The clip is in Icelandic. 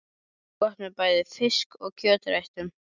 Gott með bæði fisk- og kjötréttum.